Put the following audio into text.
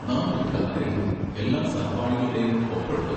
നമുക്ക് ഒരു കത്ത് എഴുതി എല്ലാ സഹപാഠികളുടെയും ഒപ്പ് എടുക്കാം.